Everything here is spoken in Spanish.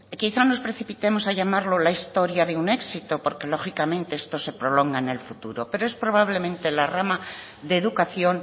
quizá nos precipitemos a llamarlo la historia de un éxito porque lógicamente esto se prolonga en el futuro pero es probablemente la rama de educación